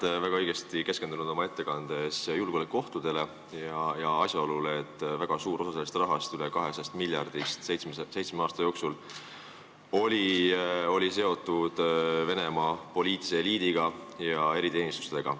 Te väga õigesti keskendusite oma ettekandes julgeolekuohtudele ja asjaolule, et väga suur osa sellest rahast, üle 200 miljardist seitsme aasta jooksul, oli seotud Venemaa poliitilise eliidi ja eriteenistustega.